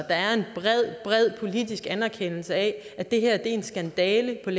er en bred bred politisk anerkendelse af at det her er en skandale af